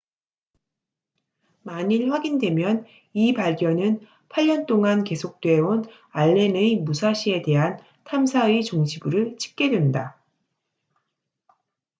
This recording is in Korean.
만일 확인되면 이 발견은 8년 동안 계속돼온 알렌의 무사시에 대한 탐사의 종지부를 찍게 된다